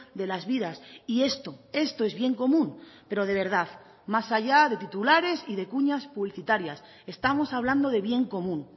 de las vidas y esto esto es bien común pero de verdad más allá de titulares y de cuñas publicitarias estamos hablando de bien común